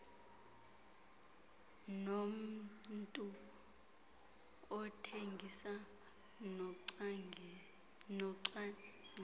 nommntu othengisa nocwangcisa